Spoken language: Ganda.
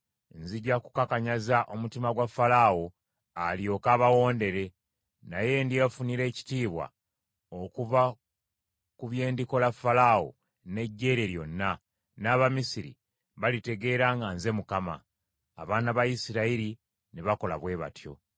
Nzija kukakanyaza omutima gwa Falaawo, alyoke abawondere. Naye ndyefunira ekitiibwa okuva ku bye ndikola Falaawo n’eggye lye lyonna; n’Abamisiri balitegeera nga nze Mukama .” Abaana ba Isirayiri ne bakola bwe batyo.